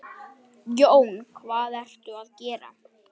Jón: Hvað ertu að gera?